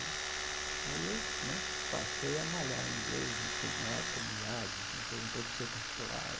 Né aí eu né passei a malhar em inglês, entrei na época no IASES, depois no professor particular.